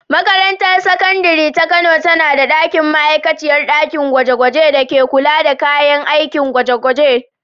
Makarantar Sakandare ta Kano tana da ma’aikaciyar ɗakin gwaje-gwaje da ke kula da kayan aikin ɗakin gwaje-gwaje.